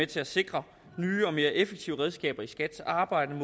til at sikre nye og mere effektive redskaber i skats arbejde i